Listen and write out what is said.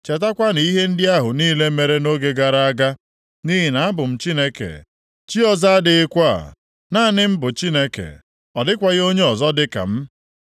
Chetakwanụ ihe ndị ahụ niile mere nʼoge gara aga, nʼihi na abụ m Chineke, chi ọzọ adịghịkwa. Naanị m bụ Chineke, ọ dịkwaghị onye ọzọ dị ka m.